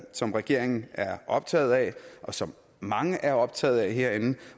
som regeringen er optaget af og som mange er optaget af herinde